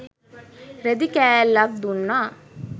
රෙදි කෑල්ලක් දුන්නා.